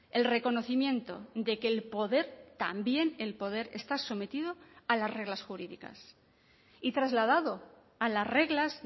el reconocimiento de que el poder también el poder está sometido a las reglas jurídicas y trasladado a las reglas